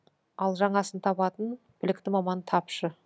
ал жаңасын табатын білікті маман тапшы